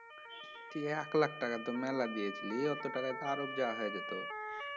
এক লাখ টাকা তো মেলা টাকা দিয়েছিলি অত টাকায় তো আরব যাওয়া হয়ে যেত